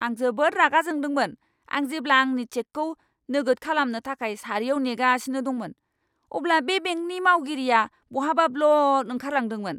आं जोबोद रागा जोंदोंमोन, आं जेब्ला आंनि चेकखौ नोगोद खालामनो थाखाय सारियाव नेगासिनो दंमोन, अब्ला बे बेंकनि मावगिरिआ बहाबा ब्लद ओंखारलांदोंमोन!